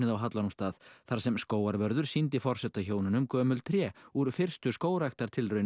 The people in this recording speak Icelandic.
á Hallormsstað þar sem skógarvörður sýndi forsetahjónunum gömul tré úr fyrstu